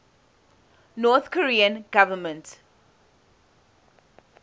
north korean government